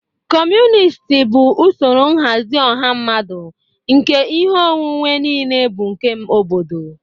Kọmunist bụ usoro nhazi ọha mmadụ nke ihe onwunwe niile bụ nke obodo.